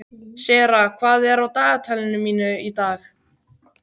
Sera, hvað er á dagatalinu í dag?